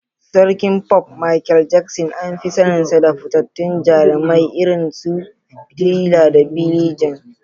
Sarkin Pop, Michael Jackson, an fi saninsa da fitattun jarumai irin su "Thriller" da "Billie Jean."